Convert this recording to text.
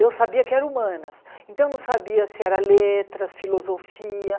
Eu sabia que era humanas, então não sabia se era letras, filosofia.